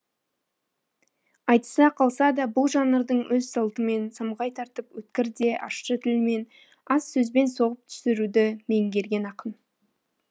айтыса қалса да бұл жанрдың өз салтымен самғай тартып өткір де ащы тілмен аз сөзбен соғып түсіруді меңгерген ақын